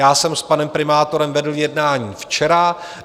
Já jsem s panem primátorem vedl jednání včera.